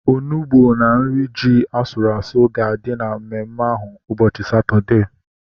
Onugbu na nri ji asụrụ asụ ga-adị na mmemme ahu ụbọchị Satọdee